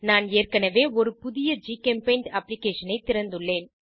நான் ஏற்கனவே ஒரு புதிய ஜிகெம்பெய்ண்ட் அப்ளிகேஷனை திறந்துள்ளேன்